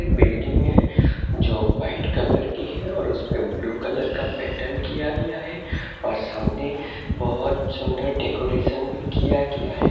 Building है जो white colour की है और उसपे ब्लू कलर का पैटर्न किया गया है और सामने बहोत सुंदर डेकोरेशन भी किया गया है।